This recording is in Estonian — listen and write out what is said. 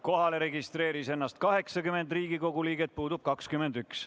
Kohalolijaks registreeris ennast 80 Riigikogu liiget, puudub 21.